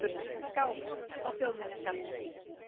skáp á þjóðminjasafni.